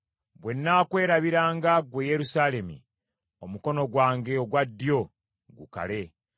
Bwe nnaakwerabiranga, ggwe Yerusaalemi, omukono gwange ogwa ddyo gukale!